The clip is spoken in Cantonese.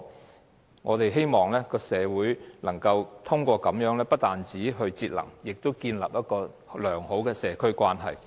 透過這些方法，不單推動社會節能，亦建立良好的社區關係。